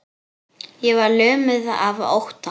Ég var lömuð af ótta.